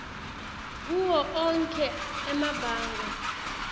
kuwo onkhe emabanga